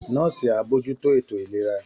Nọ́ọ̀sì á bójú tó ètò ìlera